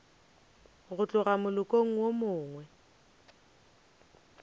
go tloga molokong wo mongwe